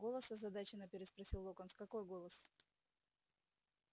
голос озадаченно переспросил локонс какой голос